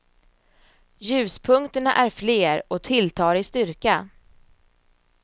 Ljuspunkterna är fler och tilltar i styrka.